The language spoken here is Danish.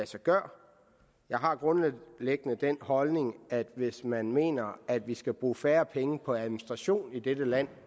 sig gøre jeg har grundlæggende den holdning at hvis man mener at vi skal bruge færre penge på administration i dette land